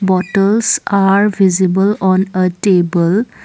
Bottles are visible on a table.